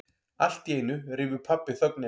Alltíeinu rýfur pabbi þögnina.